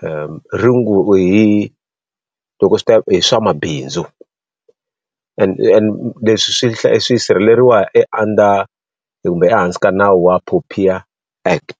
hi loko swi ta hi swa mabindzu. Leswi swi swi sirheleriwa e under kumbe ehansi ka nawu wa POPIA Act.